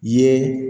I ye